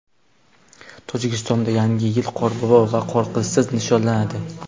Tojikistonda Yangi yil Qorbobo va Qorqizsiz nishonlanadi.